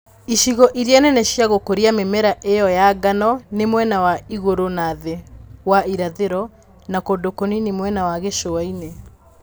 Icigo iria nene cia gu͂ku͂ria mi͂mera i͂yo ya ngano ni mwena wa igu͂ru͂ na thi͂ wa irathi͂ro, na ku͂ndu͂ ku͂nini mwena wa gi͂cu͂a-ini͂.